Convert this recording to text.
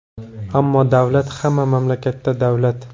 Ammo, davlat – hamma mamlakatda davlat!